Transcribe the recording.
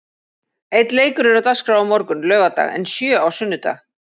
Einn leikur er á dagskrá á morgun, laugardag en sjö á sunnudag.